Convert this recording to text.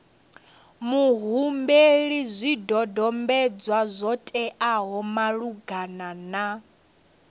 muhumbeli zwidodombedzwa zwo teaho malugana